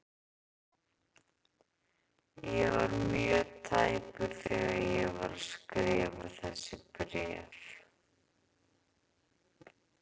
Ég var mjög tæpur þegar ég var að skrifa þessi bréf.